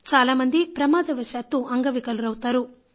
చాలా మంది ప్రమాదవశాత్తు అంగవికలురవుతారు